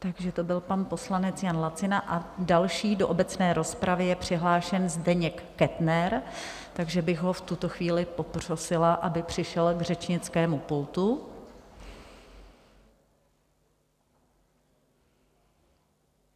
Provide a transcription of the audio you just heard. Takže to byl pan poslanec Jan Lacina a další do obecné rozpravy je přihlášen Zdeněk Kettner, takže bych ho v tuto chvíli poprosila, aby přišel k řečnickému pultu.